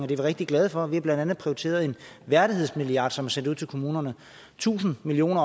vi rigtig glade for blandt andet prioriteret en værdighedsmilliard som er sendt ud til kommunerne tusind million